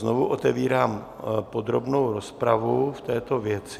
Znovu otevírám podrobnou rozpravu v této věci.